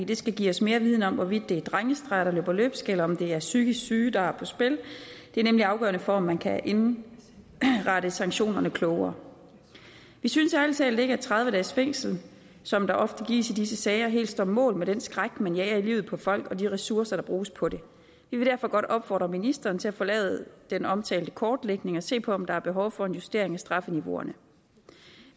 det skal give os mere viden om hvorvidt det er drengestreger der løber løbsk eller om det er psykisk syge der er på spil det er nemlig afgørende for at man kan indrette sanktionerne klogere vi synes ærlig talt ikke at tredive dages fængsel som der ofte gives i disse sager helt står mål med den skræk man jager i livet på folk og de ressourcer der bruges på det vi vil derfor godt opfordre ministeren til at få lavet den omtalte kortlægning og se på om der er behov for en justering af strafniveauet